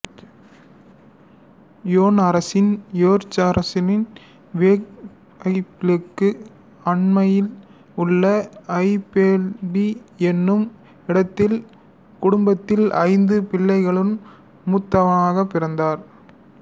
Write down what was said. யோன் Harrison யோர்க்சயரின் வேக்ஃபீல்டுக்கு அண்மையில் உள்ள ஃபோல்பி என்னும் இடத்தில் குடும்பத்தில் ஐந்து பிள்ளைகளுள் மூத்தவராகப் பிறந்தார்